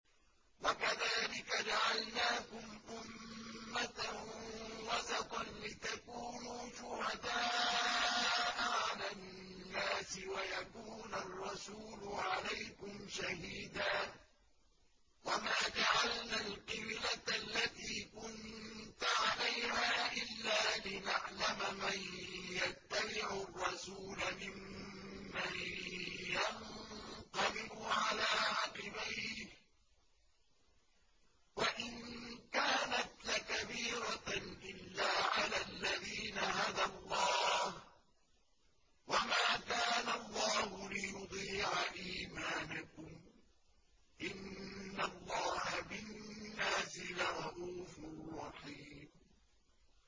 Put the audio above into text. وَكَذَٰلِكَ جَعَلْنَاكُمْ أُمَّةً وَسَطًا لِّتَكُونُوا شُهَدَاءَ عَلَى النَّاسِ وَيَكُونَ الرَّسُولُ عَلَيْكُمْ شَهِيدًا ۗ وَمَا جَعَلْنَا الْقِبْلَةَ الَّتِي كُنتَ عَلَيْهَا إِلَّا لِنَعْلَمَ مَن يَتَّبِعُ الرَّسُولَ مِمَّن يَنقَلِبُ عَلَىٰ عَقِبَيْهِ ۚ وَإِن كَانَتْ لَكَبِيرَةً إِلَّا عَلَى الَّذِينَ هَدَى اللَّهُ ۗ وَمَا كَانَ اللَّهُ لِيُضِيعَ إِيمَانَكُمْ ۚ إِنَّ اللَّهَ بِالنَّاسِ لَرَءُوفٌ رَّحِيمٌ